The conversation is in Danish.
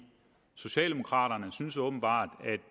socialdemokraterne synes åbenbart